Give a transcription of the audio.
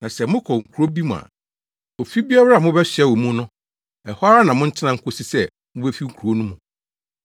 Na sɛ mokɔ kurow bi mu a, ofi biara a mobɛsoɛ wɔ mu no, ɛhɔ ara na montena nkosi sɛ mubefi kurow no mu.